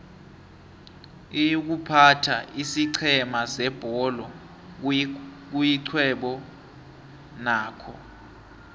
iykuphatha isiqhema sebholo kuyixhwebo nakho